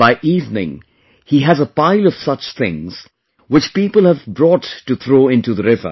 By evening, he has a pile of such things, which people have brought to throw into the river